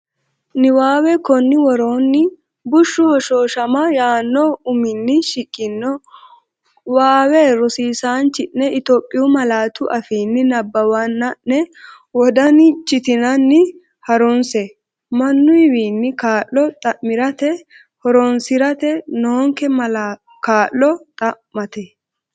Niwaawe Konni woroonni “bushshu hoshooshama” yaanno uminni shiqqino waawe rosiisaanchi’ne Itophiyu malaatu afiinni nabbawanna’ne wodan chitinanni ha’runse, Mannuwiinni kaa’lo xa’mirate horoonsi’ra noonke kaa’lo xa’mate?